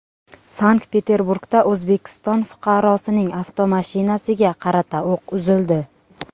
Sankt-Peterburgda O‘zbekiston fuqarosining avtomashinasiga qarata o‘q uzildi.